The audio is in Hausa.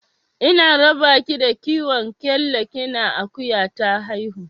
Ina raba ki da kiwon kyalla kina akuya ta haihu.